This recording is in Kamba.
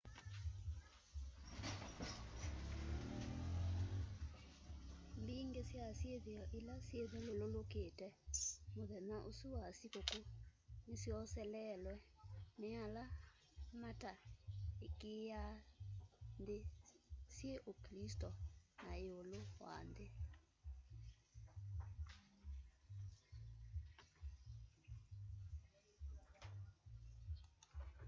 mbingi sya syithio ila syithyululukite muthenya usu wa sikuku nisyoseleelwe ni ala mataikiiaa nthi syi uklisito na iulu wanthi